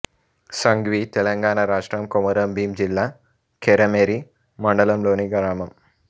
సంగ్వి తెలంగాణ రాష్ట్రం కొమరంభీం జిల్లా కెరమెరి మండలంలోని గ్రామం